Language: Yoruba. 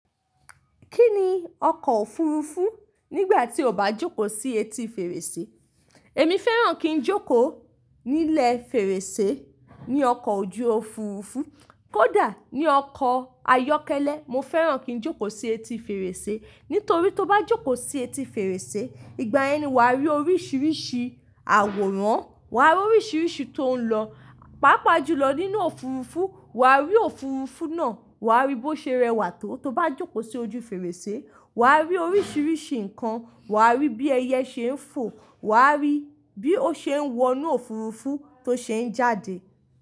Kí ni ọkọ̀ òfurufú nígbà tí o bá jókòó sí etí fèrèsé? Èmi fẹ́ràn kí n jókòó ní ilẹ̀ fèrèsé ní ọkọ̀ ojú òfurufú. Kódà ní ọkọ̀ ayọ́kẹ́lẹ́, mo fẹ́ràn kí n jókòó sí etí fèrèsé. Nítorí tó bá jókòó sí etí fèrèsé, ìgbà ẹni wà á rí oríṣìíríṣìí àwòrán, wà á rí oríṣìíríṣìí tó ń lọ. Pápá jù lọ nínú òfurufú, wà á rí òfurufú náà, wà á rí bó ṣe rẹwà tó tó bá jókòó sí ojú fèrèsé. Wà á rí oríṣìíríṣìí nǹkan, wà á rí bí ẹyẹ ṣe ń fò, wà á rí bí ó ṣe ń wọnú òfurufú tó se ń jáde.